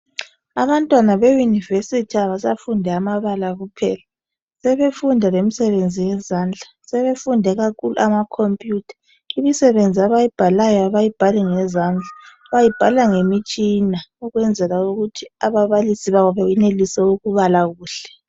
Abantwana be university abasafundi amabala kuphela, sebefunda lemsebenzi yezandla. Sebefunde kakhulu ama computer. Imisebenzi abayibhalayo abayibhali ngezandla, bayibhala ngemitshina ukwenzela ukuthi ababalisi babo beyenelise ukubala kuhle.